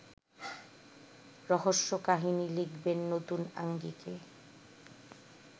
রহস্যকাহিনী লিখবেন নতুন আঙ্গিকে